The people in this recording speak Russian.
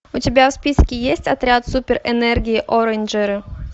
у тебя в списке есть отряд супер энергии орейнджеры